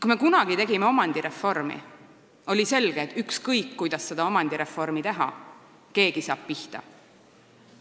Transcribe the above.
Kui me kunagi tegime omandireformi, oli selge, et ükskõik, kuidas seda omandireformi teha, keegi saab pihta.